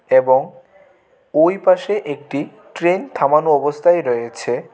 এবং ওইপাশে একটি ট্রেন থামানো অবস্থায় রয়েছে .